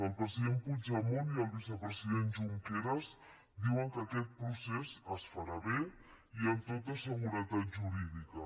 el president puigdemont i el vicepresident junqueras diuen que aquest procés es farà bé i amb tota seguretat jurídica